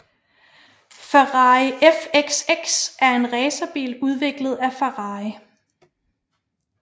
Ferrari FXX er en racerbil udviklet af Ferrari